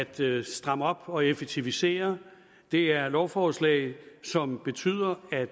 til at stramme op og effektivisere det er lovforslag som betyder at